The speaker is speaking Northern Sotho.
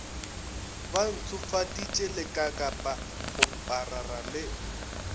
ba ntshofaditše lekakapa kgoparara le